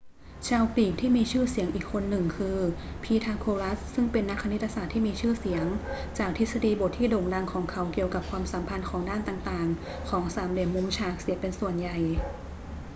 ชาวกรีกที่มีชื่อเสียงอีกคนหนึ่งคือพีทาโกรัสซึ่งเป็นนักคณิตศาสตร์ที่มีชื่อเสียงจากทฤษฎีบทที่โด่งดังของเขาเกี่ยวกับความสัมพันธ์ของด้านต่าง ๆ ของสามเหลี่ยมมุมฉากเสียเป็นส่วนใหญ่